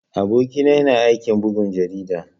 Aboki na yana aikin bugun jarida.